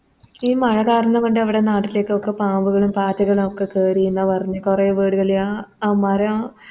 ഈ മഴ കാരണം കൊണ്ട് നമ്മുടെ നാട്ടിലേക്കൊക്കെ പാമ്പുകളും പാറ്റകളും ഒക്കെ കേറിന്ന പറഞ്ഞെ കൊറേ വീടുകളെയാ ആ മര